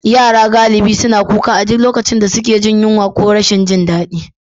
Yara galibi suna kuka a duk lokacin da suke jin yunwa ko rashin jin daɗi.